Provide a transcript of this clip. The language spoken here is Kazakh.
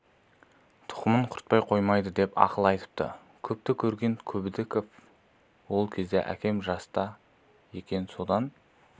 тұқымын құртпай қоймайды деп ақыл айтыпты көпті көрген көбдіков ол кезде әкем жаста екен содан